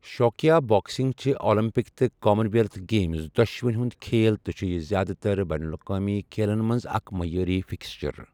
شوقیا boxing چھِ Olympic تہٕ Commonwealth Games دۄشونی ہُنٛد کھیل تہٕ چھُ یہِ زِیٛادٕ تر بین الاقوٲمی کھیلَن منٛز اکھ معیٲری فکسچر۔